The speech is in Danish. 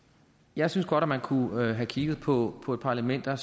jeg synes godt at man kunne have kigget på på et par elementer